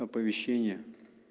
оповещение